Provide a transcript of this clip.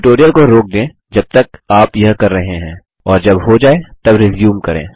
tutorial को रोक दें जब तक आप यह कर रहे हैं और जब हो जाय तब रिज्यूम करें